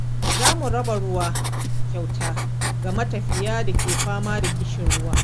Za mu raba ruwa kyauta ga matafiya da ke fama da ƙishirwa.